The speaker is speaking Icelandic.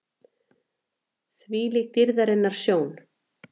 ÞVÍLÍK DÝRÐARINNAR SJÓN!